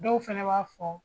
Dɔw fɛnɛ b'a fɔ